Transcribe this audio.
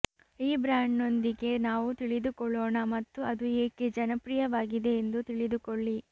ಈ ಬ್ರಾಂಡ್ನೊಂದಿಗೆ ನಾವು ತಿಳಿದುಕೊಳ್ಳೋಣ ಮತ್ತು ಅದು ಏಕೆ ಜನಪ್ರಿಯವಾಗಿದೆ ಎಂದು ತಿಳಿದುಕೊಳ್ಳಿ